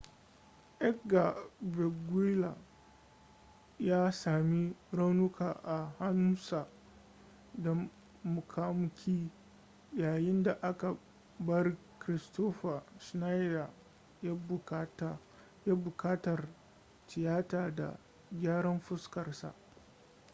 edgar veguilla ya sami raunuka a hannusa da muƙamuƙi yayin da aka bar kristoffer schneider yana buƙatar tiyata ta gyaran fuskar sa